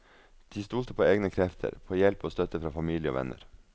De stolte på egne krefter, på hjelp og støtte fra familie og venner.